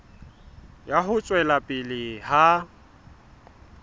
ya ho tswela pele ha